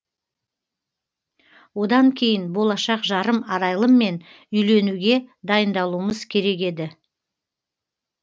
одан кейін болашақ жарым арайлыммен үйленуге дайындалуымыз керек еді